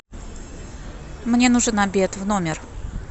мне нужен обед в номер